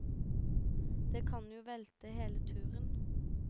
Det kan jo velte hele turen.